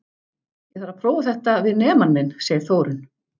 Ég þarf að prófa þetta við nemann minn, segir Þórunn.